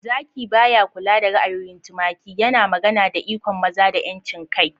"Zaki ba ya kula da ra'ayoyin tumaki," yana magana da ikon maza da 'yancin kai.